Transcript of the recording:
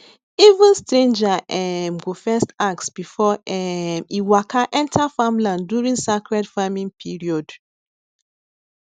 even stranger um go first ask before um e waka enter farmland during sacred farming period